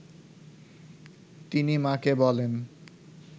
তিনি মা’কে বলেন